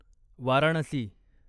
Varanasi